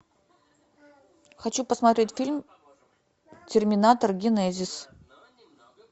хочу посмотреть фильм терминатор генезис